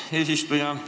Aitäh, eesistuja!